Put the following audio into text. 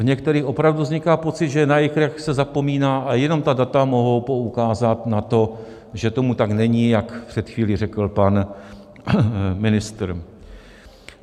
V některých opravdu vzniká pocit, že na jejich reakce se zapomíná, a jenom ta data mohou poukázat na to, že tomu tak není, jak před chvílí řekl pan ministr.